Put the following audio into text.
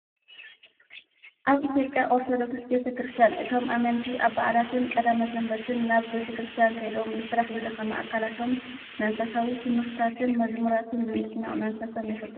ኣብ ኢትዮጵያ ኦርቶዶክስ ቤተ ከርስቲያን እቶም ኣመንቲ ኣብ በዓላትን ቀዳምን ሰንበትን ናብ ቤተክርስቲያን ከይዶም ብስራሕ ዝደከመ ኣካላቶም መንፈሳዊ ትምህርትታትን መዝሙራትን ብምስማዕ መንፈሶም የሕድሱ።